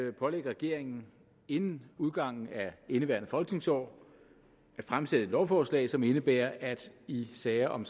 er at pålægge regeringen inden udgangen af indeværende folketingsår at fremsætte et lovforslag som indebærer at i sager om